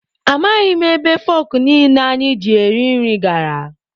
Amaghị m ebe fọkụ niile anyị ji eri nri gara.